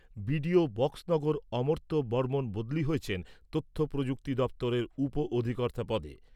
BDO Boxanagar অর্মত্য বর্মণ বদলি হয়েছেন তথ্য প্রযুক্তি দপ্তরের উপ অধিকর্তা পদে।